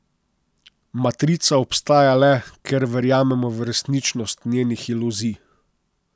Matrica obstaja le, ker verjamemo v resničnost njenih iluzij.